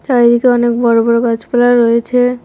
চারিদিকে অনেক বড় বড় গাছপালা রয়েছে।